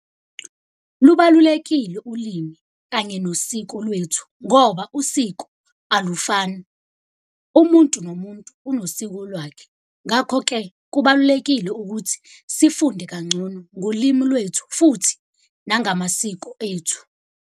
Lubalulekile ulimi kanye nosiko lwethu ngoba usiko alufani. Umuntu nomuntu unosiko lwakhe. Ngakho-ke kubalulekile ukuthi sifunde kangcono ngolimi lwethu, futhi nangamasiko ethu.